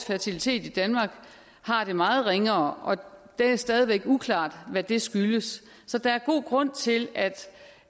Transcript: fertiliteten i danmark har det meget ringere og det er stadig væk uklart hvad det skyldes så der er god grund til